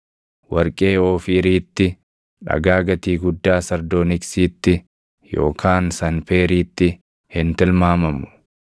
Warqee Oofiiriitti, dhagaa gatii guddaa sardooniksiitti yookaan sanpeeriitti hin tilmaamamu.